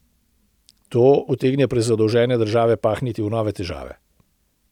To utegne prezadolžene države pahniti v nove težave.